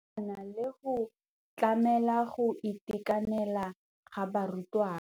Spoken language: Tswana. Ya nakwana le go tlamela go itekanela ga barutwana.